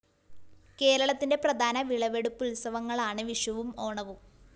കേരളത്തിന്റെ പ്രധാന വിളവെടുപ്പുത്സവങ്ങളാണ്‌ വിഷുവും ഓണവും